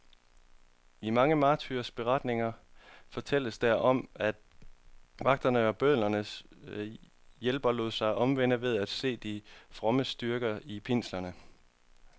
I mange martyrberetninger fortælles der om, at vagterne og bødlernes hjælpere lod sig omvende ved at se de frommes styrke i pinslerne.